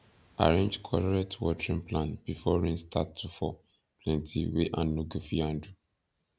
arrange correct watering plan before rain start to fall plenty wey hand no go fit handle